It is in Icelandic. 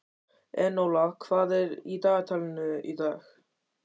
Enóla, hvað er í dagatalinu í dag?